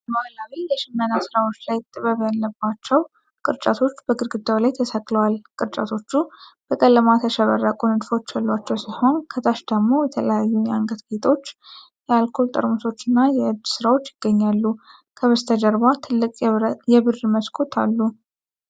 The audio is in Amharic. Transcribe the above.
በባሕላዊ የሽመና ሥራዎች ላይ ጥበብ ያለባቸው ቅርጫቶች በግድግዳው ላይ ተሰቅለዋል። ቅርጫቶቹ በቀለማት ያሸበረቁ ንድፎች ያሏቸው ሲሆን ከታች ደግሞ የተለያዩ የአንገት ጌጦች፣ የአልኮል ጠርሙሶችና የእጅ ሥራዎች ይገኛሉ። ከበስተጀርባ ትልቅ የብር መስኮቶች አሉ።